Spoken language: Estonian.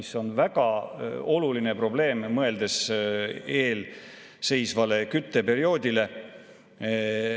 See on väga oluline, mõeldes eelseisvale kütteperioodile.